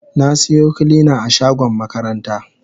Na siyo kilina a shagon makaranta.